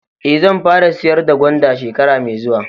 Eh, zan fara sayar da gwanda shekara mai zuwa.